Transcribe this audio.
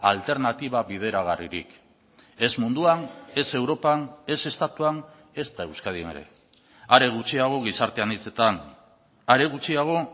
alternatiba bideragarririk ez munduan ez europan ez estatuan ezta euskadin ere are gutxiago gizarte anitzetan are gutxiago